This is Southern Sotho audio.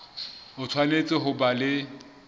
o tshwanetse ho ba le